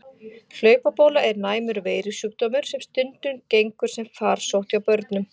Hlaupabóla er næmur veirusjúkdómur sem stundum gengur sem farsótt hjá börnum.